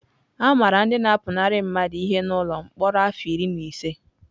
A mara ndị na-apụnara mmadụ ihe n’ụlọ mkpọrọ afọ iri na ise.